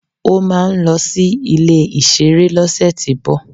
Ó máà ń lọ sí ilé ìserun lọ́sẹ̀tíbọ̀